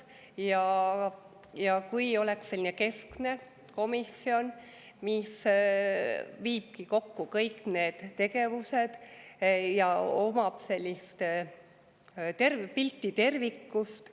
oleks sellist keskset komisjoni, mis viibki kokku kõik need tegevused ja omab pilti tervikust.